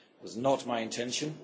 It was not my intention.